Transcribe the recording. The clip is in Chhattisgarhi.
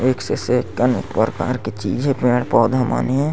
एक से सेक कई प्रकार के चीज हे पेड़-पौधा मन हे।